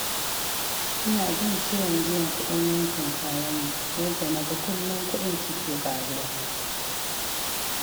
Ina jin ciwon biyan kuɗin wankin kayanmu, yadda na ga kullum kuɗin suke ƙaruwa.